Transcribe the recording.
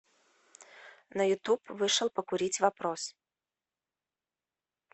на ютуб вышел покурить вопрос